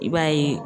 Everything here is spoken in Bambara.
I b'a ye